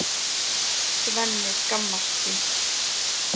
Svenni skammast sín.